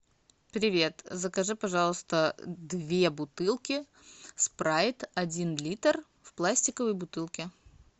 привет закажи пожалуйста две бутылки спрайт один литр в пластиковой бутылке